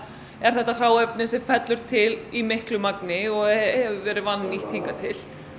er þetta hráefni sem fellur til í miklu magni og hefur verið vannýtt hingað til